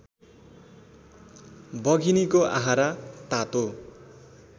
बघिनीको आहारा तातो